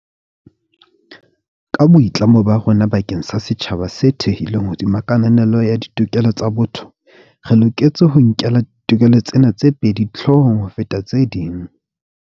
Ka boitlamo ba rona bakeng sa setjhaba se thehilweng hodima kananelo ya ditokelo tsa botho, re loketse ho nkela ditokelo tsena tse pedi hloohong ho feta tse ding.